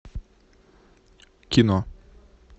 кино